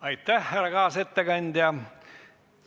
Aitäh, härra kaasettekandja!